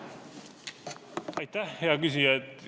Aitäh, hea küsija!